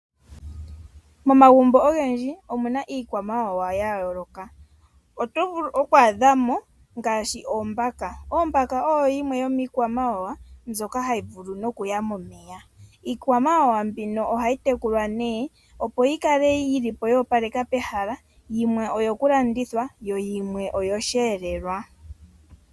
Momagumbo ogendji omuna iikwamawawa yayoloka oto vulu okwadhamo ngaashi Ombaka . Ombaka oyo yimwe yomikwawawa mbyoka hayi vulu no kuya momeya. Iikwamawawa mbika ohayi tekulwa ne opo yikale yoo palekeka pehala yimwe oyo kulandithwa yo yimwe oyo shelelwa.